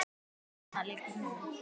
Þarna liggur nú